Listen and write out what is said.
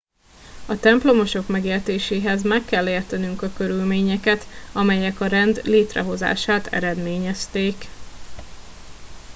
a templomosok megértéséhez meg kell értenünk a körülményeket amelyek a rend létrehozását eredményezték